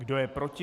Kdo je proti?